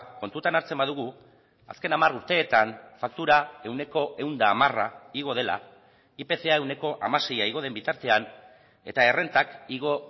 kontutan hartzen badugu azken hamar urteetan faktura ehuneko ehun eta hamara igo dela ipca ehuneko hamasei igo den bitartean eta errentak igo